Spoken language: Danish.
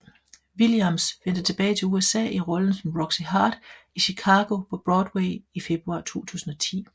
Williams vendte tilbage til USA i rollen som Roxie Hart i Chicago på Broadway i februar 2010